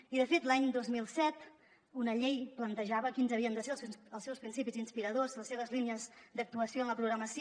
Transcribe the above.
i de fet l’any dos mil set una llei plantejava quins havien de ser els seus principis inspiradors les seves línies d’actuació en la programació